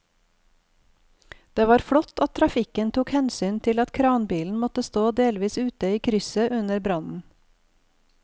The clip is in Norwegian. Det var flott at trafikken tok hensyn til at kranbilen måtte stå delvis ute i krysset under brannen.